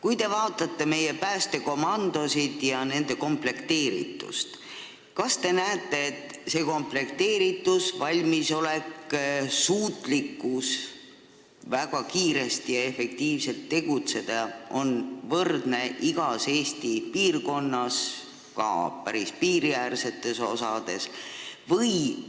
Kui te vaatate meie päästekomandosid ja nende komplekteeritust, kas te näete, et komplekteeritus, valmisolek, suutlikkus väga kiiresti ja efektiivselt tegutseda on võrdne igas Eesti piirkonnas, ka päris piiriäärsetes paikades?